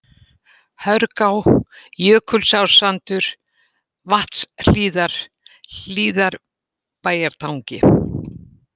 Hörgá, Jökulsársandur, Vatnshlíðar, Hlíðarbæjartangi